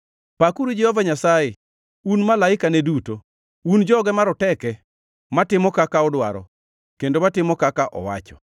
Pakuru Jehova Nyasaye, un malaikane duto, un joge maroteke matimo kaka odwaro, kendo matimo kaka owacho.